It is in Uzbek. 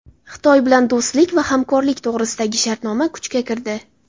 Xitoy bilan do‘stlik va hamkorlik to‘g‘risidagi shartnoma kuchga kirdi.